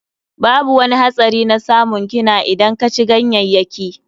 Babu wani hatsari na tsamun kina idan ka ci ganyayyaki.